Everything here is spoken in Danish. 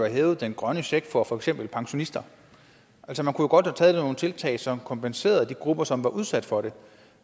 hævet den grønne check for for eksempel pensionister altså man kunne jo godt have taget nogle tiltag som kompenserede de grupper som var udsat for det